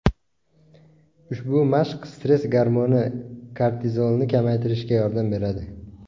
Ushbu mashq stress gormoni – kortizolni kamaytirishga yordam beradi.